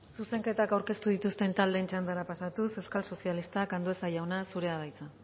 zuzenketak aurkeztu dituzten taldeen txandara pasatuz euskal sozialistak andueza jauna zurea da hitza